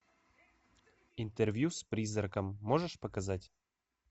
интервью с призраком можешь показать